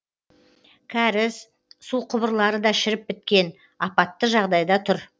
кәріз су құбырлары да шіріп біткен апатты жағдайда тұр